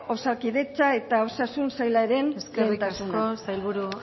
osakidetza eta osasun saialaren lehentasuna eskerrik asko eskerrik asko sailburu